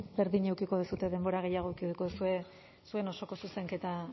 berdina izango duzue denbora gehiago edukiko duzue zuen osoko zuzenketa